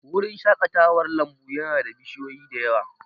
Wurin shaƙatawar lambu ya na da bishiyoyi da yawa